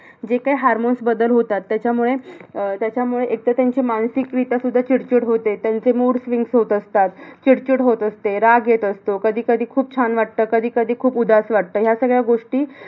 जे काय hormones बदल होतात. त्याच्यामुळे अह त्याच्यामुळे एकतर त्यांची मानसिकरीत्या सुद्धा चीड-चीड होते. त्यांचे mood swings होत असतात. चीड-चीड होत असते. राग येत असतो. कधी-कधी खूप छान वाटतं. कधी-कधी खूप उदास वाटतं. ह्या सगळ्या गोष्टी